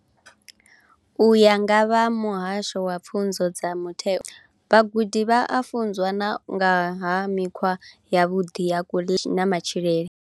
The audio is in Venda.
U ya nga vha muhasho wa pfunzo dza mutheo vhagudi vha a funzwa na nga ha mikhwa yavhuḓi ya kuḽele na matshilele.